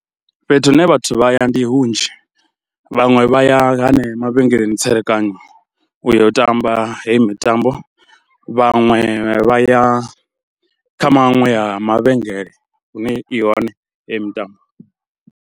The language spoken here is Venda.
Fhethu hune vhathu vha ya ndi hunzhi, vhaṅwe vha ya henea mavhengeleni tserekano u yo u tamba heyi mitambo, vhaṅwe vha ya kha maṅwe a mavhengele hune i hone heyi mitambo.